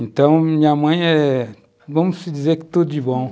Então, minha mãe é, vamos dizer que tudo de bom.